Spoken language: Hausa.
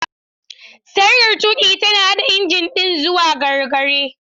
Sarkar tuƙi tana haɗa injin ɗin zuwa gargare.